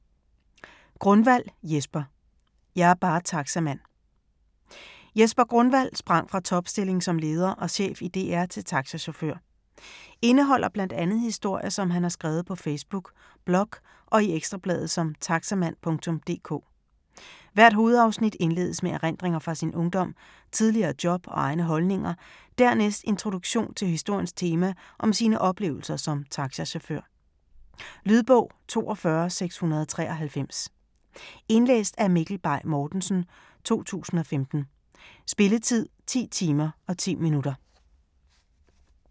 Grunwald, Jesper: Jeg er bare taxamand Jesper Grunwald sprang fra topstilling som leder og chef i DR til taxachauffør. Indeholder bl.a. historier, som han har skrevet på Facebook, blog og i Ekstrabladet som Taxamand.dk. Hvert hovedafsnit indledes med erindringer fra sin ungdom, tidligere job og egne holdninger, dernæst introduktion til historiens tema om sine oplevelser som taxachauffør. Lydbog 42693 Indlæst af Mikkel Bay Mortensen, 2015. Spilletid: 10 timer, 10 minutter.